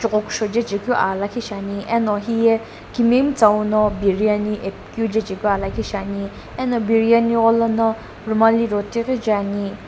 kuksho jechekeu aa lakhi shiani eno hiye kimiyemitsaou no biriyani epi keu jechekeu aa lakhi shiani eno biriyani lono rumali roti ghi je ani.